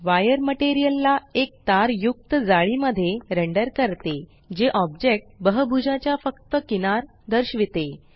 wire material ला एक तार युक्त जाळी मध्ये रेंडर करते जे ऑब्जेक्ट बहभूजाच्या फक्त किनार दर्शविते